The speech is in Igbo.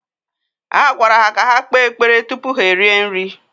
a gwara ha ka ha kpee ekpere tupu ha erie nri